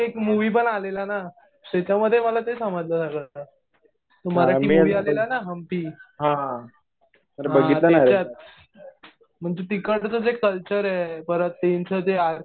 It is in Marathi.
मुवि पण आलेला ना. त्याच्यामध्ये मला ते समजलं सगळं. तो मराठी मुवि आलेला ना हंपी. हा त्याच्यात. म्हणजे तिकडचं जे कल्चर आहे. त्यांचं जे